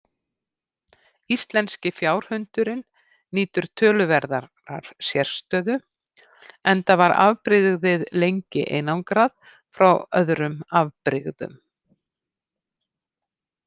Íslenski fjárhundurinn nýtur töluverðar sérstöðu enda var afbrigðið lengi einangrað frá öðrum afbrigðum.